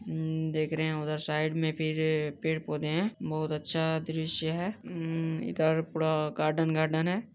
उम देख रहे हैं उधर साइड में फिर पेड़ पौधे हैं बहुत अच्छा द्रश्य है उम इधर पूरा गार्डन गार्डन है।